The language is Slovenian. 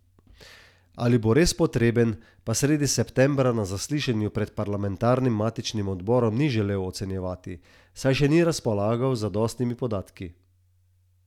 In koliko bi odšteli za rastlinjak?